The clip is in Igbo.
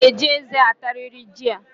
I ga-eji eze atariri jị a